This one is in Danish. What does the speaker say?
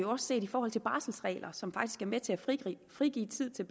også set i forhold til barselregler som faktisk er med til at frigive tid til